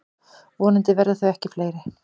Vonandi verða þau ekki fleiri.